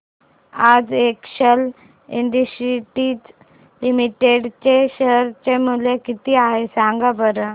आज Excel Industries Limited चे share चे मूल्य किती आहे सांगा बरं